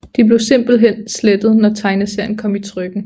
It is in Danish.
De blev simpelthen slettet når tegneserien kom i trykken